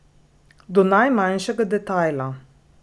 Do najmanjšega detajla.